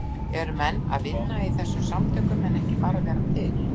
Eru menn að fara að vinna í þessum samtökum en ekki bara vera til?